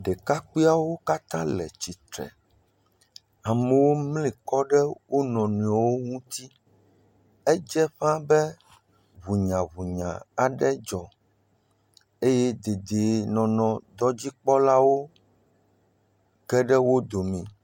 Ɖekakpuiawo katã le titre amewo mlikɔ ɖe wonɔewo ŋti edze ƒaa be hunyahunya aɖe dzɔ eye dedee nɔnɔdɔdzikpɔlawo geɖe wodome